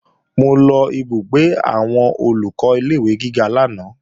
Mo lọ ìbúgbé àwọn Olùkọ́ ilé-ìwé gíga lánàá